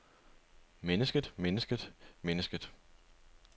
mennesket mennesket mennesket